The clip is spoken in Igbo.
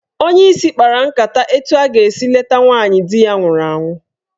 Onyeisi kpara nkata etu a ga-esi leta nwaanyị di ya nwụrụ anwụ.